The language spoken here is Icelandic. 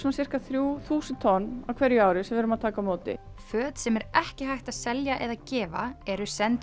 sirka þrjú þúsund tonn á hverju ári sem við erum að taka á móti föt sem ekki er hægt að selja eða gefa eru send